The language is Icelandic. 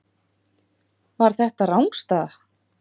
Var þetta rangstaða?